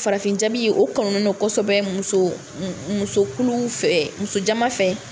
Farafin jabi o kanunen don kosɛbɛ muso musokuluw fɛ, muso jaman fɛ.